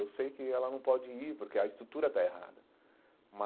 Eu sei que ela não pode ir porque a estrutura está errada mas.